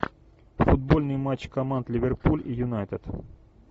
футбольный матч команд ливерпуль и юнайтед